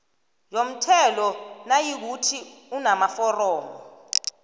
yomthelo nayikuthi unamaforomo